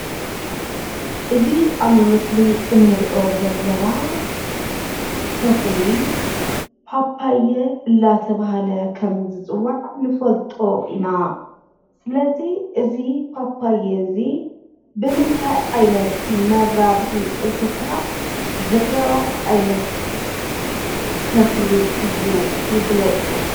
እዚ ኣብ ምስሊ እንሪኦ ዘለና ተኽሊ ፓፓየ እናተብሃለ ከም ዝፅዋዕ ንፈልጦ ኢና። ስለዚ እዚ ፓፓየ እዚ ብምንታይ ዓይነት መራብሒ እንስሳ ዝራባሕ ዓይነት ተኽሊ እዩ ይግለፁ?